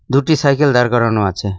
দুটি সাইকেল দাঁড় করানো আছে।